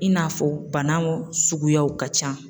In n'a fɔ bana suguyaw ka ca.